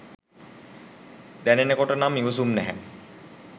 දැනෙනකොට නම් ඉවසුම් නෑ